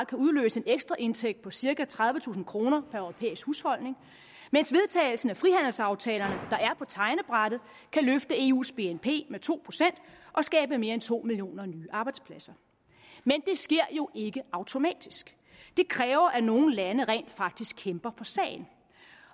kan udløse en ekstra indtægt på cirka tredivetusind kroner per europæisk husholdning mens vedtagelsen af frihandelsaftalerne der er på tegnebrættet kan løfte eus bnp med to procent og skabe mere end to millioner nye arbejdspladser men det sker jo ikke automatisk det kræver at nogle lande rent faktisk kæmper for sagen